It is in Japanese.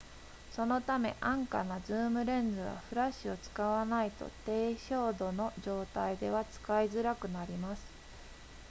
そのため安価なズームレンズはフラッシュを使わないと低照度の状態では使いづらくなります